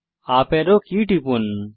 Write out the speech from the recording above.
উপারো key টিপুন